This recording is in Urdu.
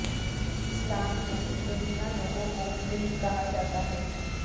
اسلام میں مبینہ لوگوں کو دلی کہا جاتا ہے